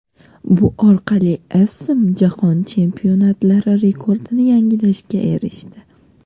Bu orqali Essam Jahon Chempionatlari rekordini yangilashga erishdi.